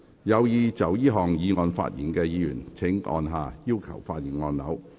有意就這項議案發言的議員請按下"要求發言"按鈕。